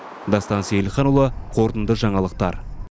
дастан сейілханұлы қорытынды жаңалықтар